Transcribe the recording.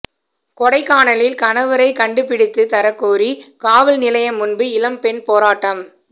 கொடைக்கானலில் கணவரை கண்டுபிடித்து தரக் கோரி காவல் நிலையம் முன்பு இளம்பெண் போராட்டம்